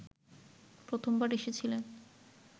প্রথমবার এসেছিলেন